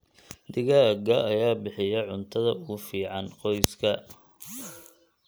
Digaagga ayaa bixiya cuntada ugu fiican qoyska.